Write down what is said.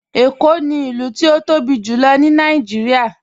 Ẹ̀kó ni ilù tí o tóbi jùlọ̀ ní Nàìjíríà.